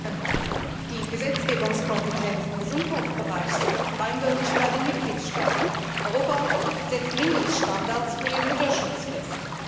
Herr Präsident! Die Gesetzgebungskompetenz im Gesundheitsbereich liegt eindeutig bei den Mitgliedstaaten. Europa setzt Mindeststandards für den Mutterschutz fest.